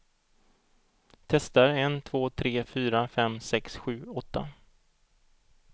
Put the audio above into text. Testar en två tre fyra fem sex sju åtta.